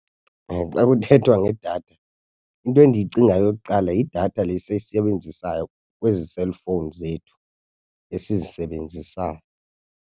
Xa kuthethwa ngedatha into endiyicingayo yokuqala yidatha le siyisebenzisayo kwezi cellphones zethu esizisebenzisayo.